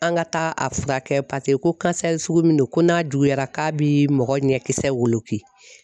An ka taa a furakɛ paseke ko sugu min do ko n'a juguyara k'a bi mɔgɔ ɲɛkisɛ woloki.